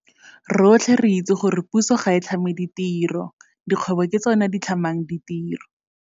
Rotlhe re itse gore puso ga e tlhame ditiro. Dikgwebo ke tsona di tlhamang ditiro.